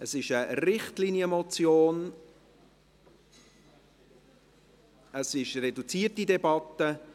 Es ist eine Richtlinienmotion, wir führen eine reduzierte Debatte.